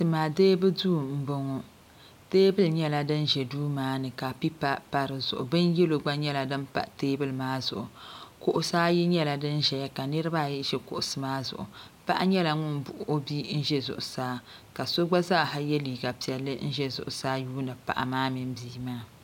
Tima deebu duu m boŋɔ teebuli nyɛla din ʒɛ duu maani ka pipa pa dizuɣu bin yelo gba nyɛla din pa teebuli maa zuɣu kuɣusi ayi nyɛla din ʒɛya ka niriba ayi ʒi kuɣusi maa zuɣu paɣa nyɛla ŋun buɣi o bia n ʒi zuɣusaa ka so gba zaaha ye liiga piɛlli n ʒɛ zuɣusaa yuuni paɣa maa mini bia maa.